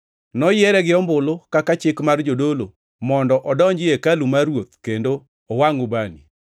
Noyiere gi ombulu kaka chik mar jodolo, mondo odonji ei hekalu mar Ruoth kendo owangʼ ubani.